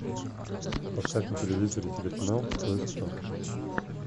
поставь на телевизоре телеканал кто есть кто